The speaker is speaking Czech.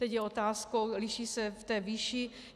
Teď je otázkou - liší se v té výši.